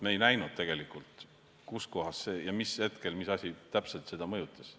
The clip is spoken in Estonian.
Me ei näinud, kus kohas, mis hetkel ja mis asi täpselt seda mõjutas.